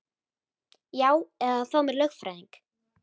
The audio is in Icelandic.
Já eða að fá mér lögfræðing.